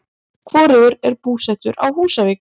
Hvorugur er búsettur á Húsavík.